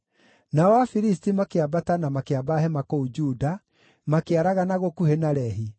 Nao Afilisti makĩambata na makĩamba hema kũu Juda, makĩaragana gũkuhĩ na Lehi.